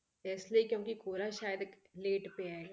ਤੇ ਇਸ ਲਈ ਕਿਉਂਕਿ ਕੋਹਰਾ ਸ਼ਾਇਦ late ਪਿਆ ਹੈਗਾ